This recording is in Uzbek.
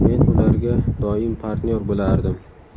Men ularga doim partnyor bo‘lardim.